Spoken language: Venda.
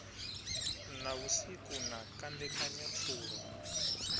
na vhusiku na kandekanya pfulo